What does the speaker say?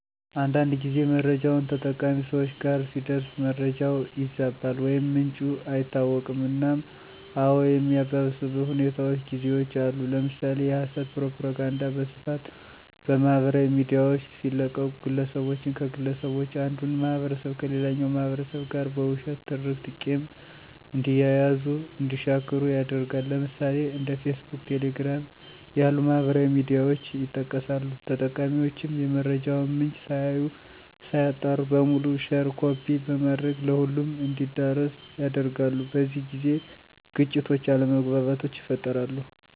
አንዳንድ ጊዜ መረጃውች ተጠቃሚ ሰወች ጋር ሲደርስ መረጃው ይዛባል ወይም ምንጩ አይታወቅም እናም አዎ የሚያባብስበት ሁኔታውች ጊዜውች አሉ። ለምሳሌ የሀሰት ፕሮፖጋንዳ በስፋት በማህበራዊ ሚዲያውች ሲለቀቁ ግለሰቦችን ከግለሰቦች አንዱን ማህበረሰብ ከሌላኛው ማህበረሰብ ጋር በውሸት ትርክት ቂም እንዲያያዙ እንዲሻክሩ ያደርጋል። ለምሳሌ፦ እንደ ፌስቡክ፣ ቴሌግራም ያሉ ማህበራዊ ሚዲያውች ይጠቀሳሉ። ተጠቃሚውችም የመረጃውን ምንጭ ሳያዩ ሳያጣሩ በሙሉ ሼር ኮፒ በማድረግ ለሁሉም እንዲዳረስ ያደርጋሉ። በዚህ ጊዜ ግጭቶች አለመግባባቶች ይፈጠራሉ።